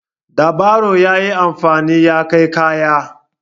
Da baro ya yi amfani ya kai kaya.